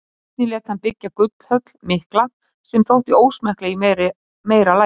Einnig lét hann byggja gullhöll mikla sem þótti ósmekkleg í meira lagi.